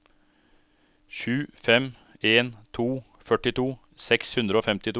sju fem en to førtito seks hundre og femtito